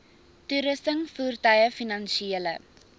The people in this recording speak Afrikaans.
toerusting voertuie finansiële